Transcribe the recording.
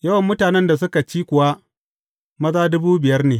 Yawan mutanen da suka ci kuwa maza dubu biyar ne.